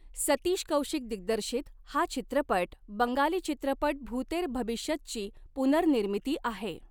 सतीश कौशिक दिग्दर्शित हा चित्रपट बंगाली चित्रपट भूतेर भबिश्यतची पुनर्निर्मिती आहे.